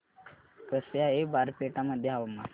कसे आहे बारपेटा मध्ये हवामान